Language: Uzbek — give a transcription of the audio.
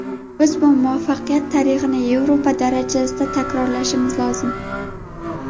Biz bu muvaffaqiyat tarixini Yevropa darajasida takrorlashimiz lozim.